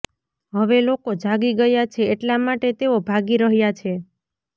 હવે લોકો જાગી ગયા છે એટલા માટે તેઓ ભાગી રહ્યા છે